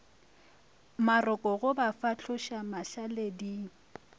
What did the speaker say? maroko go ba fahloša mašaleding